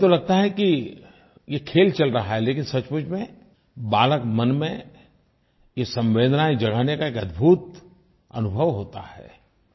हमें तो लगता है कि ये खेल चल रहा है लेकिन सचमुच में बालक मन में ये संवेदनाएं जगाने का एक अद्भुत अनुभव होता है